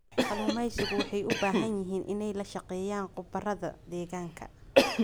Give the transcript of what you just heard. Kalluumaysigu waxay u baahan yihiin inay la shaqeeyaan khubarada deegaanka.